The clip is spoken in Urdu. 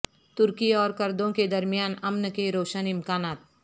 ترکی اور کردوں کے درمیان امن کے روشن امکانات